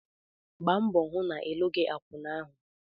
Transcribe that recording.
Gba mbọ hụ na ịlụghị akwụna ahụ!